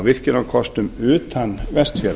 virkjunarkostum utan vestfjarða